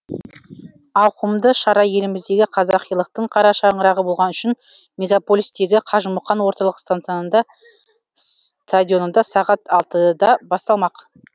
ауқымды шара еліміздегі қазақилықтың қарашаңырағы болған үшін мегаполистегі қажымұқан орталық стадионында сағат алтыда басталмақ